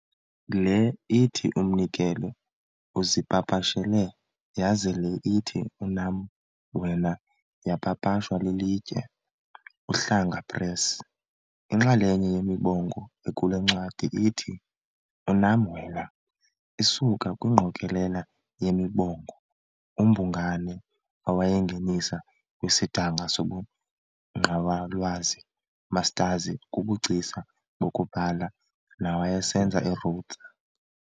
Le ithi, Umnikelo, uzipapashele yaze le ithi, Unam Wena, yapapashwa lilitye Uhlanga Press. Inxalenye yemibongo ekule ncwadi ithi, Unam Wena, isuka kwingqokelela yemibongo uMbungwana awayingenisa kwisidanga sobuNgqawalwazi, Mastazi, kubuGcisa bokuBhala, nawayesenza eRhodes.